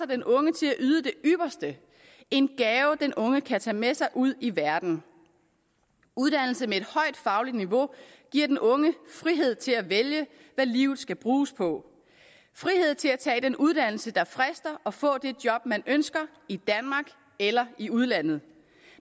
den unge til at yde det ypperste en gave den unge kan tage med sig ud i verden uddannelse med et højt fagligt niveau giver den unge frihed til at vælge hvad livet skal bruges på frihed til at tage den uddannelse der frister og få det job man ønsker i danmark eller i udlandet